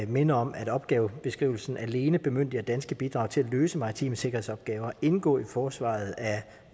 minde om at opgavebeskrivelsen alene bemyndiger danske bidrag til at løse maritime sikkerhedsopgaver indgå i forsvaret af